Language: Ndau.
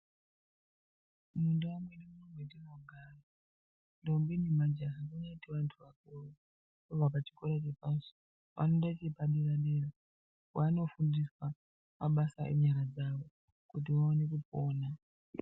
Mundau medu munomu metinogara ndombi nemajaha dzinoitawo vantu vakuru vabva chikora chepashi voenda chepadera-dera kwanofundiwa mabasa yenyara dzavo kuti vaone kupona.